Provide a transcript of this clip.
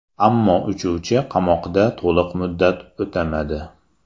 Ammo uchuvchi qamoqda to‘liq muddat o‘tamadi.